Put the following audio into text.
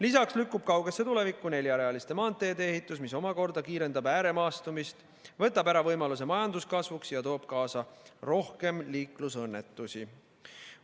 Lisaks lükkub kaugesse tulevikku neljarealiste maanteede ehitus, mis omakorda kiirendab ääremaastumist, võtab ära võimaluse majanduskasvuks ja toob kaasa rohkem liiklusõnnetusi.